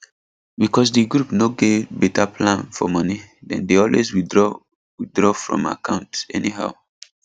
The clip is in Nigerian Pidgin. because di group no get better plan for money dem dey always withdraw withdraw from account anyhow